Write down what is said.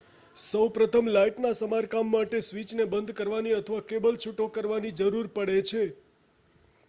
સૌપ્રથમ લાઈટના સમારકામ માટે સ્વિચને બંધ કરવાની અથવા કેબલ છૂટો કરવાની જરૂર પડે છે